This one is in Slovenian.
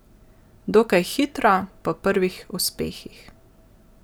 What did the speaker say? Dokaj hitro, po prvih uspehih.